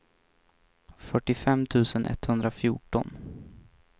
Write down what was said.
fyrtiofem tusen etthundrafjorton